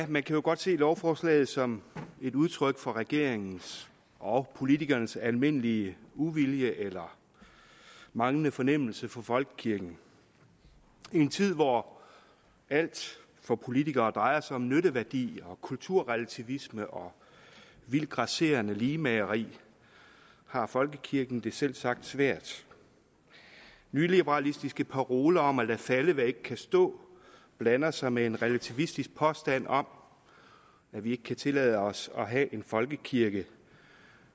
man kan jo godt se lovforslaget som et udtryk for regeringens og politikernes almindelige uvilje eller manglende fornemmelse for folkekirken i en tid hvor alt for politikere drejer sig om nytteværdi og kulturrelativisme og vildt grasserende ligemageri har folkekirken det selvsagt svært nyliberalistiske paroler om at lade falde hvad ikke kan stå blander sig med en relativistisk påstand om at vi ikke kan tillade os at have en folkekirke